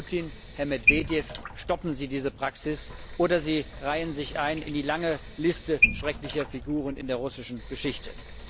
Herr Putin, Herr Medwedjew, stoppen Sie diese Praxis, oder Sie reihen sich ein in die lange Liste schrecklicher Figuren in der russischen Geschichte!